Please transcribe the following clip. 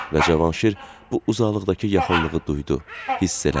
Və Cavanşir bu uzaqlıqdakı yaxınlığı duydu, hiss elədi.